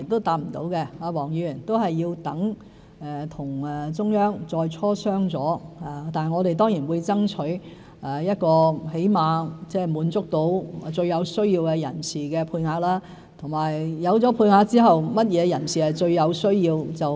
我們需待與中央再磋商，但我們當然會爭取起碼滿足最有需要人士的配額，而有配額後甚麼人士最有需要？